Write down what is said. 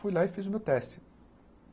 Fui lá e fiz o meu teste.